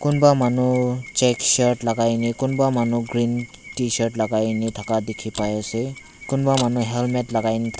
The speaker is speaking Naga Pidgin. kunba manu check shirt lai ka kena kunba manu green tshirt lai kena thaka dike pai ase kunba manu helmet lai kai kena.